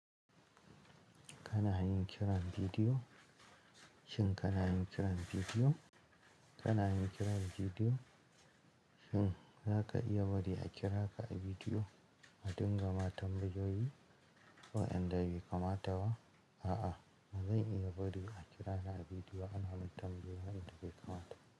Kana yin kiran bidiyo? Shin kana yin kiran bidiyo? Kana yin kiran bidiyo? Shin zaka iya bari a kira ka a bidiyo a dinga ma tambayoyi wa inda bai kamata ba? A'a, ba zan iya bari a kira ni a bidiyo ana man tambayoyi wanda bai kamata ba.